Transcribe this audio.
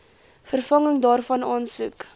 vervanging daarvan aansoek